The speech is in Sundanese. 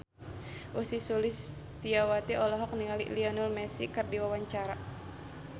Ussy Sulistyawati olohok ningali Lionel Messi keur diwawancara